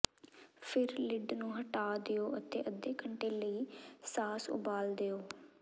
ਫਿਰ ਲਿਡ ਨੂੰ ਹਟਾ ਦਿਓ ਅਤੇ ਅੱਧੇ ਘੰਟੇ ਲਈ ਸਾਸ ਉਬਾਲ ਦਿਓ